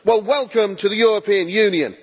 Well, welcome to the European Union.